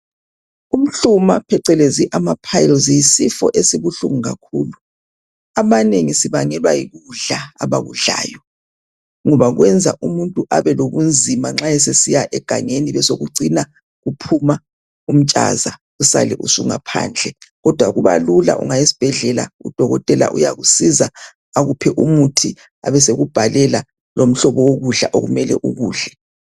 Umhluma, phecelezi amapiles, yisifo esibuhlungu kakhulu. Abanengi, sibangelwa yikudla, abakudlayo, ngoba kwenza umuntu, abelobunzima nxa esesiya egangeni, besekucina kuphuma umtshaza, usale usungaphandle, kodwa kubalula ungaya esibhedlela, udokotela, uyakusiza, akuphe umuthi, abesekubhalela lomhlobo wokudla okumele ukudle.